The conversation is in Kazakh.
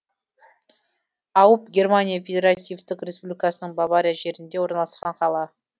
ауб германия федеративтік республикасының бавария жерінде орналасқан қала